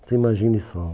Você imagine só